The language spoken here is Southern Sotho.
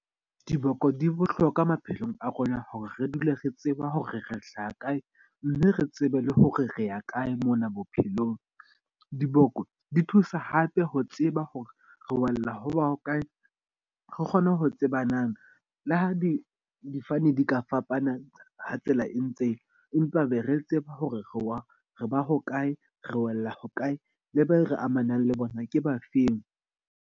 Diboko di bohlokwa maphelong a rona hore re dule re tseba ho re re hlaha kae. Mme re tsebe le hore re ya kae mona bophelong. Diboko di thusa hape ho tseba hore re wella ho ba hokae re kgone ho tsebanang le ha di difofane di ka fapana ha tsela e ntseya. Empa be re tseba hore re wa re ba hokae, re wela hokae, le be re amanang le bona ke bafeng.